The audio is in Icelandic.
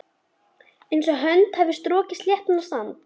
Einsog hönd hafi strokið sléttan sand.